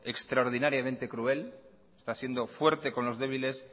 extraordinariamente cruel está siendo fuerte con los débiles